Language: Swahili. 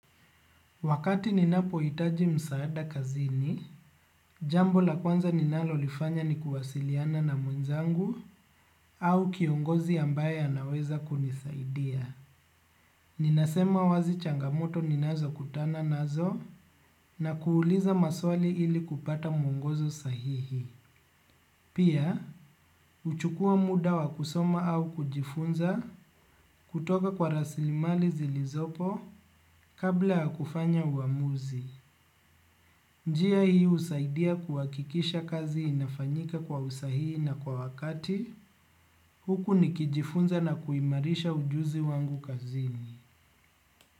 Wakati ninapohitaji msaada kazini, jambo la kwanza ninalolifanya ni kuwasiliana na mwenzangu au kiongozi ambaye anaweza kunisaidia. Ninasema wazi changamoto ninazokutana nazo na kuuliza maswali ili kupata mwongozo sahihi. Pia, huchukua muda wa kusoma au kujifunza kutoka kwa rasilimali zilizopo kabla ya kufanya uamuzi. Njia hii husaidia kuhakikisha kazi inafanyika kwa usahii na kwa wakati, huku nikijifunza na kuimarisha ujuzi wangu kazini.